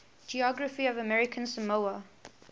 geography of american samoa